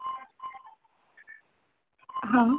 ହଁ